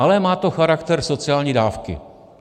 Ale má to charakter sociální dávky.